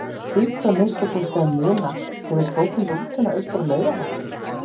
Þú hlýtur að minnsta kosti að muna þegar við tókum rútuna austur að Laugarvatni.